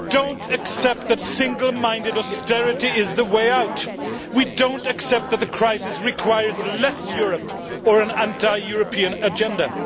We do not accept that single minded austerity is the way out. We do not accept that the crisis requires less Europe or an anti European agenda.